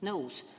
Nõus.